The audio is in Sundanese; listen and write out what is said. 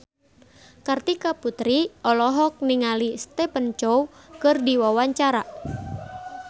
Kartika Putri olohok ningali Stephen Chow keur diwawancara